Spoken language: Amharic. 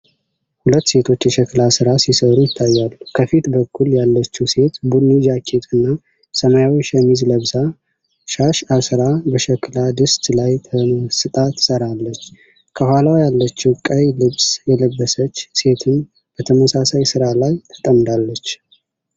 ሁለት ሴቶች የሸክላ ሥራ ሲሠሩ ይታያሉ። ከፊት በኩል ያለችው ሴት ቡኒ ጃኬት እና ሰማያዊ ሸሚዝ ለብሳ፣ ሻሽ አስራ በሸክላ ድስት ላይ ተመስጣ ትሠራለች። ከኋላ ያለችው ቀይ ልብስ የለበሰች ሴትም በተመሳሳይ ሥራ ላይ ተጠምዳለች፡፡